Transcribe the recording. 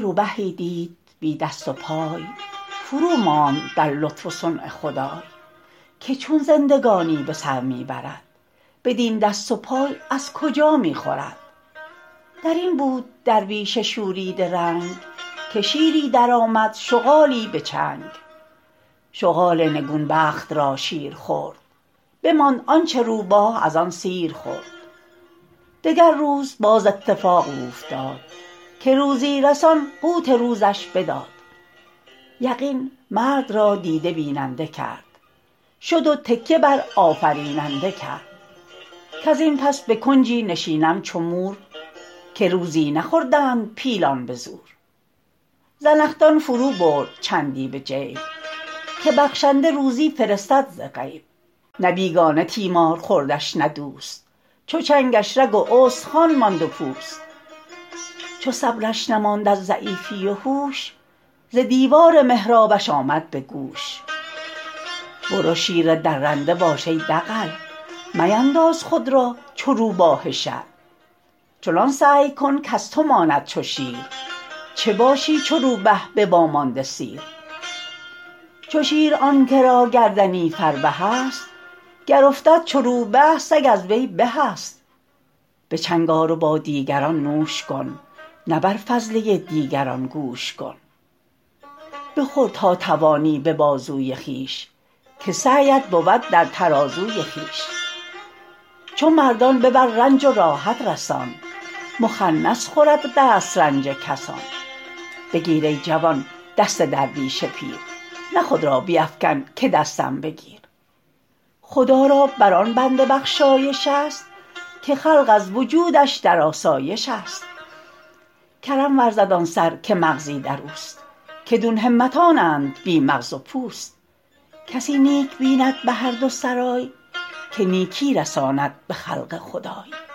روبهی دید بی دست و پای فروماند در لطف و صنع خدای که چون زندگانی به سر می برد بدین دست و پای از کجا می خورد در این بود درویش شوریده رنگ که شیری درآمد شغالی به چنگ شغال نگون بخت را شیر خورد بماند آنچه روبه از آن سیر خورد دگر روز باز اتفاق اوفتاد که روزی رسان قوت روزش بداد یقین مرد را دیده بیننده کرد شد و تکیه بر آفریننده کرد کز این پس به کنجی نشینم چو مور که روزی نخوردند پیلان به زور زنخدان فرو برد چندی به جیب که بخشنده روزی فرستد ز غیب نه بیگانه تیمار خوردش نه دوست چو چنگش رگ و استخوان ماند و پوست چو صبرش نماند از ضعیفی و هوش ز دیوار محرابش آمد به گوش برو شیر درنده باش ای دغل مینداز خود را چو روباه شل چنان سعی کن کز تو ماند چو شیر چه باشی چو روبه به وامانده سیر چو شیر آن که را گردنی فربه است گر افتد چو روبه سگ از وی به است به چنگ آر و با دیگران نوش کن نه بر فضله دیگران گوش کن بخور تا توانی به بازوی خویش که سعیت بود در ترازوی خویش چو مردان ببر رنج و راحت رسان مخنث خورد دسترنج کسان بگیر ای جوان دست درویش پیر نه خود را بیفکن که دستم بگیر خدا را بر آن بنده بخشایش است که خلق از وجودش در آسایش است کرم ورزد آن سر که مغزی در اوست که دون همتانند بی مغز و پوست کسی نیک بیند به هر دو سرای که نیکی رساند به خلق خدای